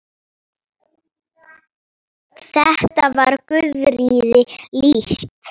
Þetta var Guðríði líkt.